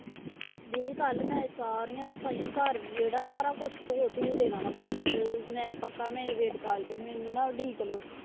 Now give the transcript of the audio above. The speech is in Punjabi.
ਦੀਦੀ ਕੱਲ੍ਹ ਮੈਂ ਸਾਰੀਆਂ ਸਫ਼ਾਈਆਂ ਘਰ ਵਿਹੜਾ ਸਾਰਾ ਕੁਛ ਧੋ ਧੂ ਦੇਣਾ ਵਾਂ ਕੱਲ੍ਹ ਮੈਂ ਪੱਕਾ ਮੇਰੀ wait ਕਰ ਲਇਓ ਮੈਨੂੰ ਨਾ ਉਡੀਕ ਲਇਓ।